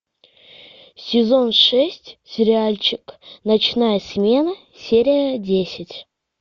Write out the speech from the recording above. сезон шесть сериальчик ночная смена серия десять